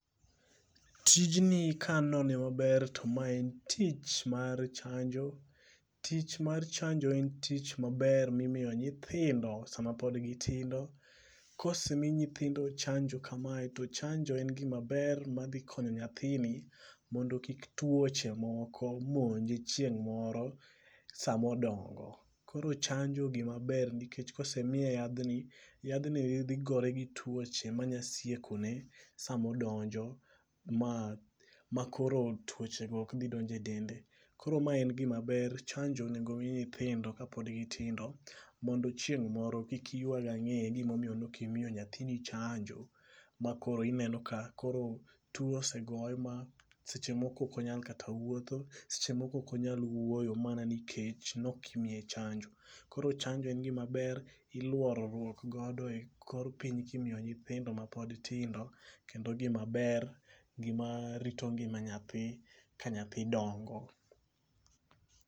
Tijni ka anone maber, to ma en tich mar chanjo. Tich mar chanjo en tich maber ma imiyo nyithindo sama pode gitindo. Kosemi nyithindo chanjo kamae, to chanjo en gima ber ma dhi konyo nyathini mondo kik twoche moko monje chieng' moro sama odongo. Koro chanjo gima ber, nikech ka osemiye yadhni, yadhni dhi gore gi twoche ma nyalo siekone, sama odonjo, ma ma koro twoche go ok dhi donjo e dende. Koro ma en gima ber. chanjo onego omi nyithindo, ka pod gi tindo, mondo chieng' moro kik iywag angé ni momiyo ne okimiyo nyathini chanjo ma koro ineno ka koro two osegoye, ma koro seche moko okonyal kata wuotho, seche moko ok onyalo wuoyo, mana nikech ne ok imiye chanjo. Koro chanjo en gima ber, iluorruok godo e kor piny, kimiyo nyithindo, ma pod tindo. Kendo o gima ber, gima rito ngima nyathi, ka nyathi dongo.